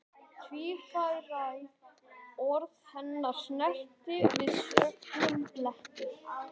Tvíræð orð hennar snertu við snöggum bletti.